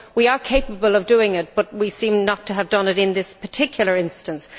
We are capable of doing it but we seem not to have done it in this particular instance.